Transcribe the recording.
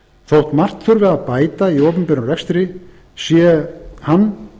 þótt margt þurfi að bæta í opinberum rekstri sé hann